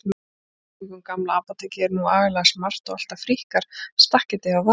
Í kringum Gamla apótekið er nú agalega smart og alltaf fríkkar stakketið hjá Varða.